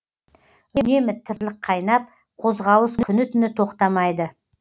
үнемі тірлік қайнап қозғалыс күні түні тоқтамайды